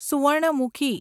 Swarnamukhi